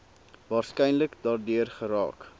waarskynlik daardeur geraak